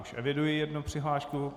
Už eviduji jednu přihlášku.